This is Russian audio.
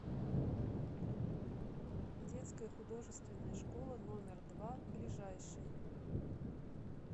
детская художественная школа номер два ближайший